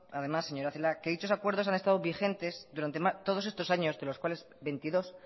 además señora celaá que dichos acuerdos han estado vigentes durante todos estos años de los cuales veintidós